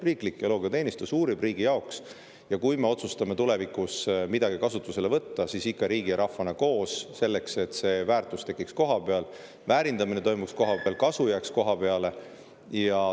Riiklik geoloogiateenistus teeb uuringuid riigi jaoks ja kui me otsustame tulevikus midagi kasutusele võtta, siis ikka riigi ja rahvana koos, selleks, et see väärtus tekiks kohapeal, väärindamine toimuks kohapeal, kasu jääks kohapeale.